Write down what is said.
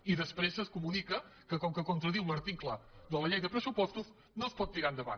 i després es comunica que com que contradiu l’article de la llei de pressupostos no es pot tirar endavant